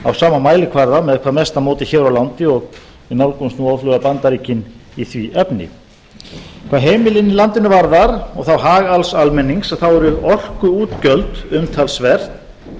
á sama mælikvarða með hvað mesta móti hér á landi og við nálgumst nú óðfluga bandaríkin í því efni hvað heimilin í landinu varðar og þá hag alls almennings að þá eru orkuútgjöld umtalsverð